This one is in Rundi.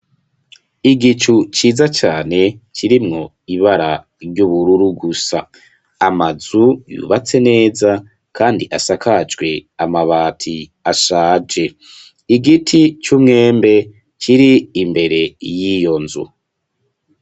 Igicu ciza cane kirimwo ibara ry'ubururu gusa amazu yubatse neza kandi asakajwe amabati ashaje Igiti cumwembe kiri mbere yiyonzu.